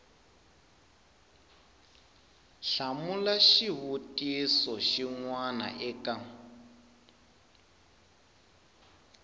hlamula xivutiso xin we eka